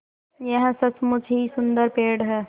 यह सचमुच ही सुन्दर पेड़ है